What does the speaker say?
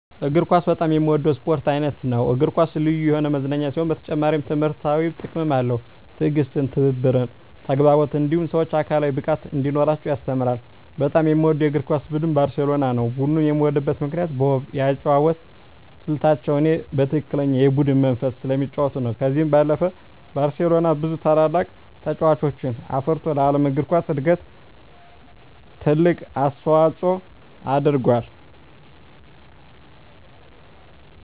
እግር ኳስ በጣም የምወደው የስፖርት አይነት ነው። እግር ኳስ ልዩ የሆነ መዝናኛ ሲሆን በተጨማሪም ትምህርታዊ ጥቅምም አለው። ትዕግስትን፣ ትብብርን፣ ተግባቦትን እንዲሁም ሰወች አካላዊ ብቃት እንዲኖራቸው ያስተምራል። በጣም የምወደው የእግር ኳስ ቡድን ባርሴሎናን ነው። ቡድኑን የምወድበት ምክንያት በውብ የአጨዋወት ስልታቸው እኔ በትክክለኛ የቡድን መንፈስ ስለሚጫወቱ ነው። ከዚህ ባለፈም ባርሴሎና ብዙ ታላላቅ ተጫዋቾችን አፍርቶ ለዓለም እግር ኳስ እድገት ትልቅ አስተዋፅኦ አድርጎአል።